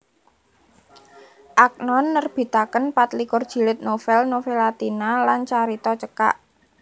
Agnon nerbitaken patlikur jilid novel novelatina lan carita cekak